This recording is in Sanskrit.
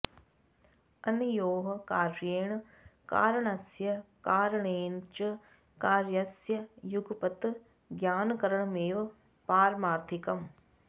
अनयोः कार्येण कारणस्य कारणेन च कार्यस्य युगपत् ज्ञानकरणमेव पारमार्थिकम्